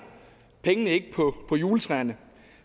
pengene ikke på juletræerne